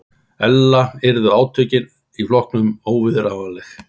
Ella yrðu átökin í flokknum óviðráðanleg